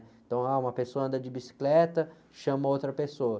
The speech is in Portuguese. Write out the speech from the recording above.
Então, ah, uma pessoa anda de bicicleta, chama outra pessoa.